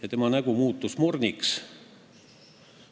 Ja tema nägu muutus morniks.